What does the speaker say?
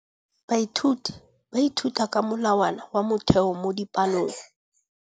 Baithuti ba ithuta ka molawana wa motheo mo dipalong.